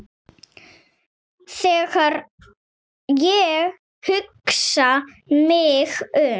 Þegar ég hugsa mig um